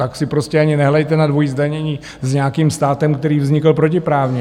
Tak si prostě ani nehrajte na dvojí zdanění s nějakým státem, který vznikl protiprávně.